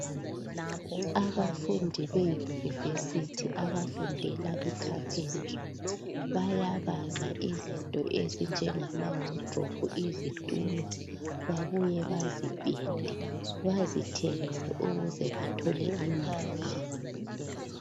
Abafundi be university abafundela i carpentry bayabaza izinto ezinjengama wardrobe izitulo babuye bazipende bazithengise ukuze bathole imali